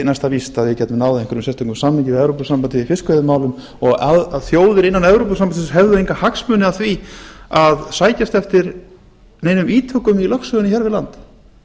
næsta víst að við gætum náð einhverjum sérstökum samningi við evópusambandið í fiskveiðimálum og þjóðir innan evrópusambandsins hefðu enga hagsmuni af því að sækjast eftir neinum ítökum í lögsögunni hér við land